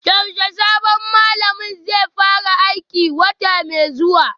Yaushe sabon malamin zai fara aiki, wata mai zuwa?